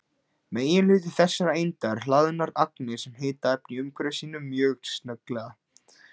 Meginhluti þessara einda eru hlaðnar agnir sem hita efnið í umhverfi sínu mjög snögglega.